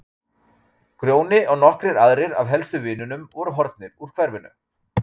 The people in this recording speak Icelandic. Grjóni og nokkrir aðrir af helstu vinunum voru horfnir úr hverfinu.